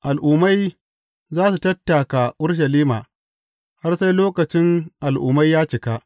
Al’ummai za su tattaka Urushalima, har sai lokacin Al’ummai ya cika.